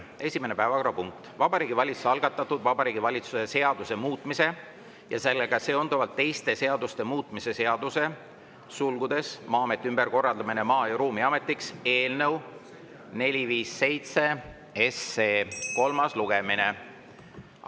Esimene päevakorrapunkt on Vabariigi Valitsuse algatatud Vabariigi Valitsuse seaduse muutmise ja sellega seonduvalt teiste seaduste muutmise seaduse eelnõu 457 kolmas lugemine.